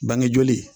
Bangejoli